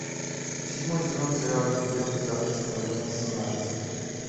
седьмой сезон сериал легенды завтрашнего дня семнадцать